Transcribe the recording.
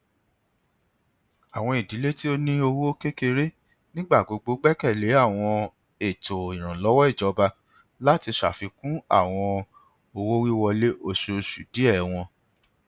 awọn idile ti o ni owo kekere nigbagbogbo gbẹkẹle awọn eto iranlọwọ ijọba lati ṣafikun awọn owowiwọle oṣooṣu diẹ wọn